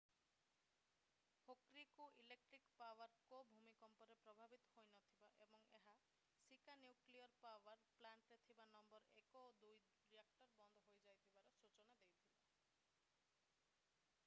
Hokuriku electric power co ଭୂମିକମ୍ପରେ ପ୍ରଭାବିତ ହୋଇନଥିବା ଏବଂ ଏହାର ଶିକା ନ୍ୟୁକ୍ଲିଅର୍ ପାୱର୍ ପ୍ଲାଣ୍ଟରେ ଥିବା ନମ୍ବର 1 ଓ 2 ରିଆକ୍ଟର୍ ବନ୍ଦ ହୋଇଯାଇଥିବାର ସୂଚନା ଦେଇଥିଲା